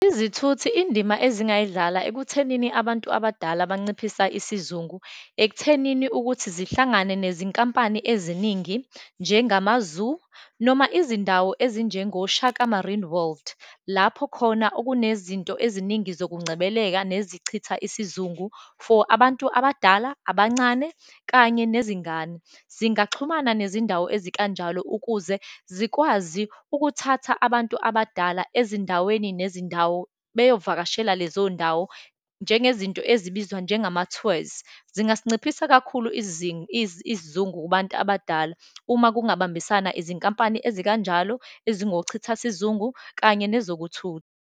Izithuthi, indima ezingayidlala ekuthenini abantu abadala banciphisa isizungu, ekuthenini ukuthi zihlangane nezinkampani eziningi, njengama-zoo, noma izindawo ezinjengo-Shaka Marine World, lapho khona okunezinto eziningi zokungcebeleka nezichitha isizungu for abantu abadala, abancane, kanye nezingane. Zingaxhumana nezindawo ezikanjalo ukuze zikwazi ukuthatha abantu abadala ezindaweni nezindawo, beyovakashela lezondawo, njengezinto ezibizwa njengama-tours. Zingasinciphisa kakhulu isizungu kubantu abadala. Uma kungabambisana izinkampani ezikanjalo ezingochithasizungu kanye nezokuthutha.